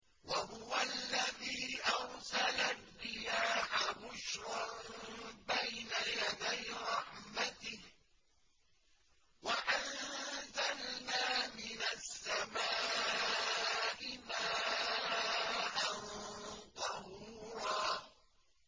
وَهُوَ الَّذِي أَرْسَلَ الرِّيَاحَ بُشْرًا بَيْنَ يَدَيْ رَحْمَتِهِ ۚ وَأَنزَلْنَا مِنَ السَّمَاءِ مَاءً طَهُورًا